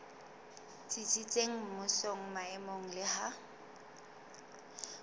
tsitsitseng mmusong maemong le ha